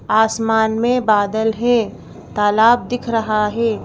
आसमान में बादल हैं तालाब दिख रहा है।